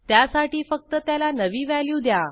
त्यासाठी फक्त त्याला नवी व्हॅल्यू द्या